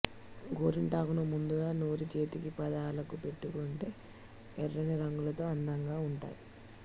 గోరింటాకును ముద్దగా నూరి చేతికి పాదాలకు పెట్టుకుంటే ఎర్ర్రని రంగుతో అందంగా ఉంటాయి